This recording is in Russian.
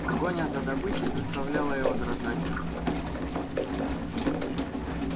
погоня за добычей заставляла его дрожать от наслаждения